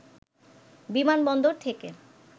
বিমানবন্দর থেকে